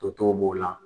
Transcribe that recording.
Totɔw b'o la